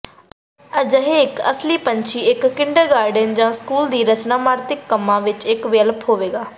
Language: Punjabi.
ਅਜਿਹੇ ਇੱਕ ਅਸਲੀ ਪੰਛੀ ਇੱਕ ਕਿੰਡਰਗਾਰਟਨ ਜਾਂ ਸਕੂਲ ਲਈ ਰਚਨਾਤਮਕ ਕੰਮ ਦਾ ਇੱਕ ਵਿਕਲਪ ਹੋਵੇਗਾ